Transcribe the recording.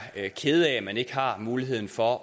kede af at man ikke har muligheden for